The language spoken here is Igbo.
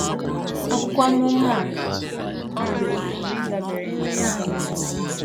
Akwụkwọ amụma a a pụrụ ịdabere na ya bụ Novel.